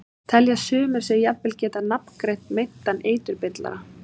Telja sumir sig jafnvel geta nafngreint meintan eiturbyrlara.